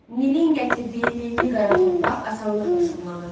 Nilin gətirdiyi lilli qara torpaq asanlıqla şumlanırdı.